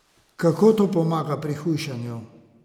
Kako to pomaga pri hujšanju?